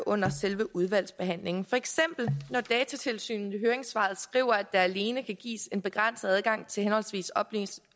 under selve udvalgsbehandlingen for eksempel når datatilsynet i høringssvaret skriver at der alene kan gives en begrænset adgang til henholdsvis oplysninger